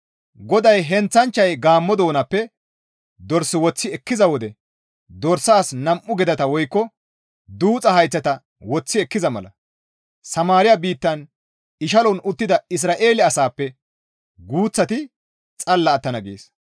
GODAY, «Heenththanchchay gaammo doonappe dors woththi ekkiza wode dorsas nam7u gedata woykko duuxa hayththata woththi ekkiza mala Samaariya biittan ishalon uttida Isra7eele asaappe guuththati xalla attana» gees.